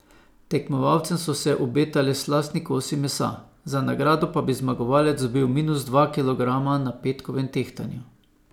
Tekmovalcem so se obetali slastni kosi mesa, za nagrado pa bi zmagovalec dobil minus dva kilograma na petkovem tehtanju.